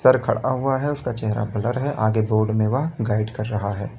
Sir खड़ा हुआ है उसका चेहरा ब्लर है आगे बोर्ड में वह गाईड कर रहा है।